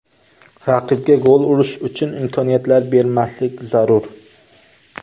Raqibga gol urish uchun imkoniyatlar bermaslik zarur.